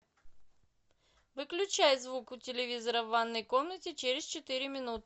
выключай звук у телевизора в ванной комнате через четыре минуты